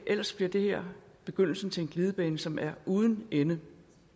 ellers bliver det her begyndelsen til en glidebane som er uden ende